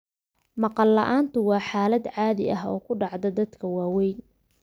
Maqal la'aantu waa xaalad caadi ah oo ku dhacda dadka waaweyn.